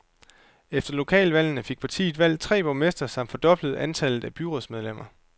Efter lokalvalgene fik partiet valgt tre borgmestre samt fordoblet antallet af byrådsmedlemmer.